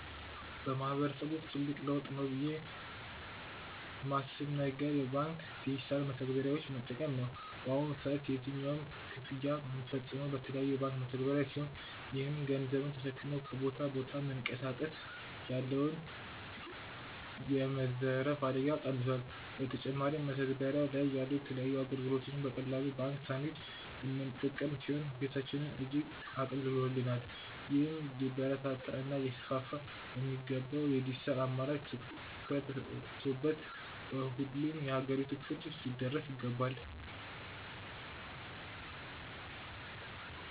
በማህበረሰብ ውስጥ ትልቅ ለውጥ ነው ብዬ ማስብ ነገር የባንክ ዲጂታል መተግበሪያዎችን መጠቀም ነው። በአሁኑ ሰዓት የትኛውንም ክፍያ ምንፈጽመው በተለያዩ የባንክ መተግባሪያ ሲሆን ይህም ገንዘብን ተሸክሞ ከቦታ ቦታ መንቀሳቀስ ያለውን የመዘረፍ አደጋ ቀንሶል። በተጨማሪም መተግበሪያው ላይ ያሉ የተለያዩ አገልግሎቶችን በቀላሉ ባንክ ሳንሄድ ምንጠቀም ሲሆን ህይወታችንን እጅግ አቅልሎልናል። ይህም ሊበረታታ እና ሊስፋፋ የሚገባው የድጅታል አማራጭ ትኩረት ተሰጥቶበት በሁሉም የአገሪቷ ክፍል ሊዳረስ ይገባል።